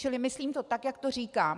Čili myslím to tak, jak to říkám.